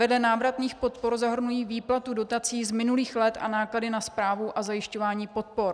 Vedle návratných podpor zahrnují výplatu dotací z minulých let a náklady na správu a zajišťování podpor.